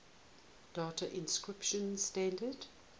data encryption standard